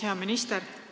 Hea minister!